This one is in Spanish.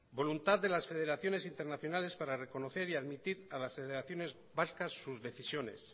voluntad de las federaciones internacionales para reconocer y admitir a las federaciones vascas sus decisiones